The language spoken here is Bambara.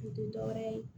U tɛ dɔ wɛrɛ ye